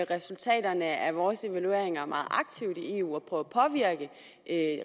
resultaterne af vores evalueringer meget aktivt i eu og prøve at